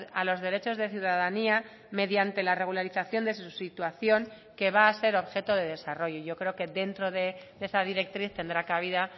a los derechos de ciudadanía mediante la regularización de su situación que va a ser objeto de desarrollo yo creo que dentro de esa directriz tendrá cabida